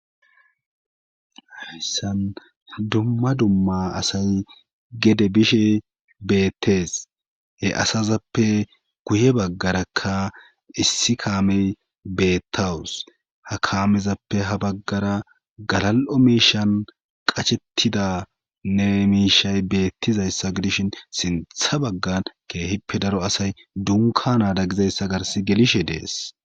hayssan dumma dumma asay gede bishe beettees he asazappe guye baggarakka issi kaamey beettawus ha kaamezappe ha baggara galal7o miishan qachettidanne miishay beettizayssa gidishin sintha baggan keehippe daro asay dunka naada gizayssa gars gelishe dees